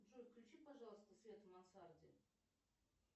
джой включи пожалуйста свет в мансарде